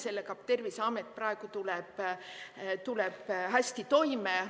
Sellega tuleb Terviseamet praegu hästi toime.